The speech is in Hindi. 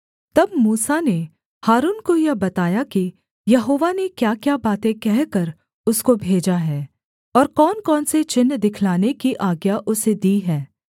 तब मूसा ने हारून को यह बताया कि यहोवा ने क्याक्या बातें कहकर उसको भेजा है और कौनकौन से चिन्ह दिखलाने की आज्ञा उसे दी है